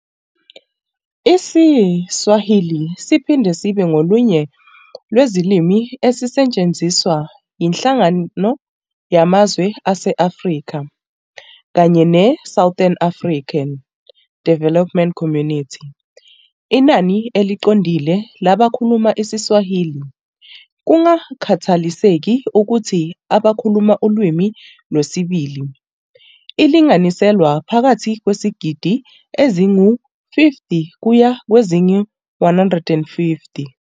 IsiSwahili siphinde sibe ngolunye lwezilimi ezisetshenziswa yiNhlangano Yamazwe ase-Afrika kanye ne-Southern African Development Community. Inani eliqondile labakhuluma isiSwahili, kungakhathaliseki ukuthi abakhuluma ulimi lwesibili, lilinganiselwa phakathi kwezigidi ezingu-50 kuya kwezingu-150.